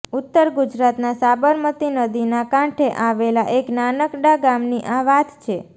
ઉત્તર ગુજરાતના સાબરમતી નદીના કાંઠે આવેલા એક નાનકડા ગામની આ વાત છે